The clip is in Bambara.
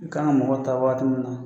U kan ka mɔgɔ ta waati min na